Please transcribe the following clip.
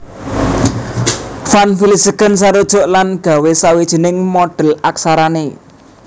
Van Vlissingen sarujuk lan nggawé sawijining modhèl aksarané